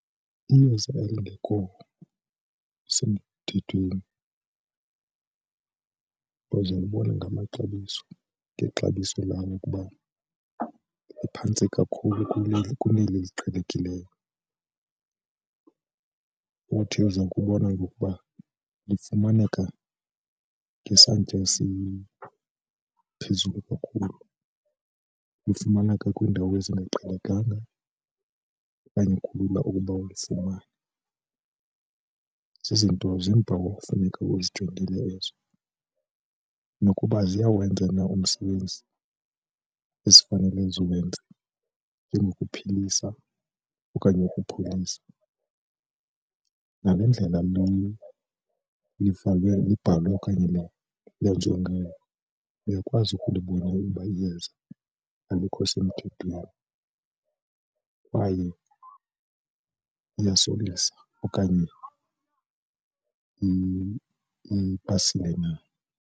Iyeza elingekho semthethweni uzolibona ngamaxabiso ngexabiso lalo ukuba liphantsi kakhulu kuneli kuneli liqhelekileyo. Uthi uza kubona ukuba lifumaneka ngesantya esiphezulu kakhulu, lifumaneka kwiindawo ezingaqhelekanga okanye kulula ukuba ulifumane. Zizinto ziimpawu kufuneka uzijongile ezo nokuba ziyawenza na umsebenzi ezifanele ziwenze njengokuphilisa okanye ukupholisa ngale ndlela livalwe libhalwe okanye lenziwe ngayo uyakwazi ukulibona ukuba iyeza alikho semthethweni kwaye liyasokolisa okanye ipasile na.